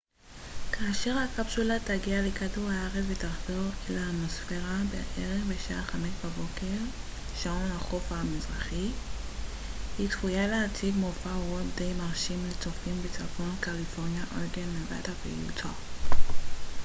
כאשר הקפסולה תגיע לכדור הארץ ותחדור אל האטמוספירה בערך בשעה 5 בבוקר שעון החוף המזרחי היא צפויה להציג מופע אורות די מרשים לצופים בצפון קליפורניה אורגון נבדה ויוטה